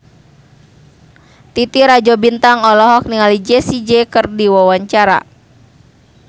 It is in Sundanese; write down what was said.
Titi Rajo Bintang olohok ningali Jessie J keur diwawancara